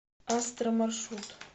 астро маршрут